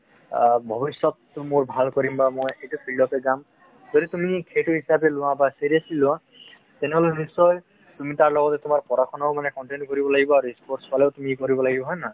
ভৱিষ্যত টো মোৰ ভাল কৰিম বা মই এইটো field তেই যাম । যদি তুমি সেইটো হিচাপে লোৱা বা বা seriously লোৱা তেনেহলে নিশ্চয় তুমি তাৰ লগতে তোমাৰ পঢ়া শুনা ও মানে continue কৰিব লাগিব আৰু sports ফালেও তুমি কৰিব লাগিব। হয় নে নহয়?